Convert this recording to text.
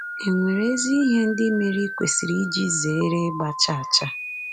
È nwere ezi ihe ndị mere i kwesịrị iji zere ịgba chaa chaa?